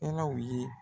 ye